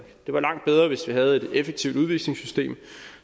det var langt bedre hvis vi havde et effektivt udvisningssystem